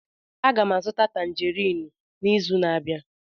Aga m azụta Tanjerin n'izu na-abịa.